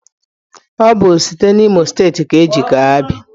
Ọ bụ site n'Imo steeti ka e ji kee Abia.